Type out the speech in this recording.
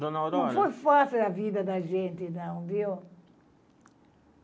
Dona Aurora... Não foi fácil a vida da gente, não, viu?